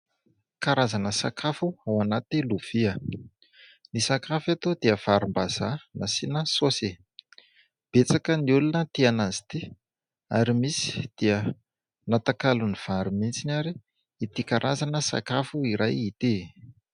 Karazana sakafo ao anaty lovia. Ny sakafo eto dia varimbazaha nasiana saosy. Betsaka ny olona tia an'izy ity ary misy dia natakalony vary mihitsy ary ity karazana sakafo iray ity.